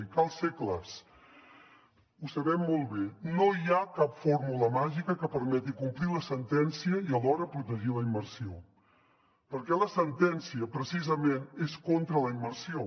i cal ser clars ho sabem molt bé no hi ha cap fórmula màgica que permeti complir la sentència i alhora protegir la immersió perquè la sentència precisament és contra la immersió